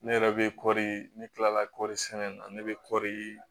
Ne yɛrɛ bɛ kɔɔri ne kila la kɔri sɛnɛ na ne bɛ kɔri